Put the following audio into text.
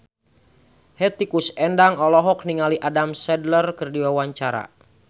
Hetty Koes Endang olohok ningali Adam Sandler keur diwawancara